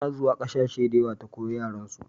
Ta na zuwa ƙasashe da yawa ta koya yaren su